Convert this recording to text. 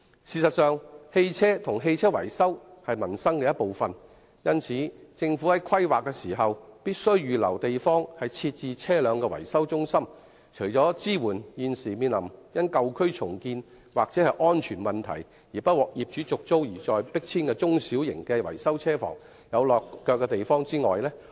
事實上，車輛及車輛維修均是民生的一部分，因此，政府在進行規劃時，必須預留地方設置車輛維修中心，令現時因舊區重建或安全問題，不獲業主續租而被迫遷的中小型維修車房有"落腳地"。